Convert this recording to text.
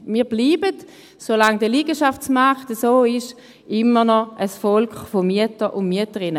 Wir bleiben – solange der Liegenschaftsmarkt so ist – weiterhin ein Volk von Mietern und Mieterinnen.